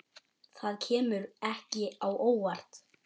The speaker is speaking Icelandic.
Það kemur ekki á óvart.